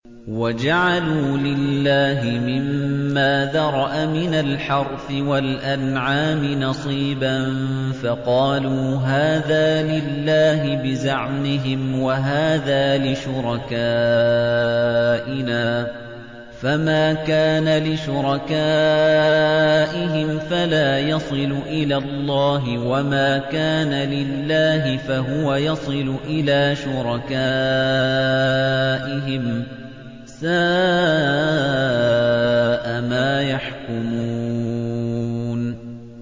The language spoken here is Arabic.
وَجَعَلُوا لِلَّهِ مِمَّا ذَرَأَ مِنَ الْحَرْثِ وَالْأَنْعَامِ نَصِيبًا فَقَالُوا هَٰذَا لِلَّهِ بِزَعْمِهِمْ وَهَٰذَا لِشُرَكَائِنَا ۖ فَمَا كَانَ لِشُرَكَائِهِمْ فَلَا يَصِلُ إِلَى اللَّهِ ۖ وَمَا كَانَ لِلَّهِ فَهُوَ يَصِلُ إِلَىٰ شُرَكَائِهِمْ ۗ سَاءَ مَا يَحْكُمُونَ